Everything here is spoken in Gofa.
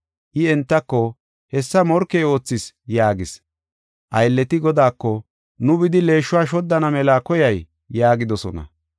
“I entako, ‘Hessa morkey oothis’ yaagis. “Aylleti godaako, ‘Nu bidi leeshuwa shoddana mela koyay?’ yaagidosona.